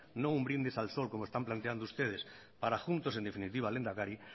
no un brindis al sol como están planteando ustedes para juntos en definitiva lehendakari